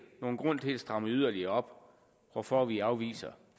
nogen grund til at stramme yderligere op hvorfor vi afviser